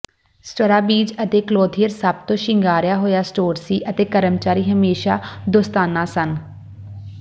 Strawbridge ਅਤੇ Clothier ਸਭ ਤੋਂ ਸ਼ਿੰਗਾਰਿਆ ਹੋਇਆ ਸਟੋਰ ਸੀ ਅਤੇ ਕਰਮਚਾਰੀ ਹਮੇਸ਼ਾਂ ਦੋਸਤਾਨਾ ਸਨ